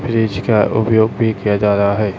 Fridge का उपयोग भी किया जा रहा है।